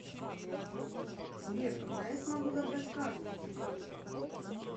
сбер когда я смогу забрать карту